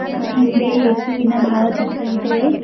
ಅವನ ಹಿಂದೆ ಯೇಸುವಿನ ಭಾವಚಿತ್ರ ಇದೆ.